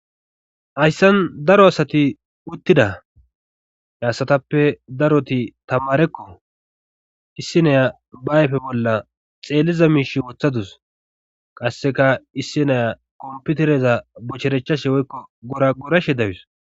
Hayssan daro asati uttida heasatappe daroti tamarekko issineya baayfe bolla xeelliza miish wooththadus qasseka issineya kompitereza bocherechashe woykko gora gorashe dawus.